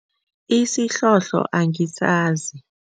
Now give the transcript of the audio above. Isihlohlo angisazi.